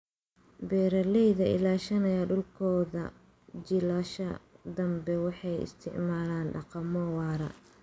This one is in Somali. Beeraleyda ilaashanaya dhulkooda jiilasha danbe waxay isticmaalaan dhaqamo waara.